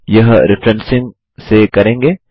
यह रेफ्रेंसिंग से करेंगे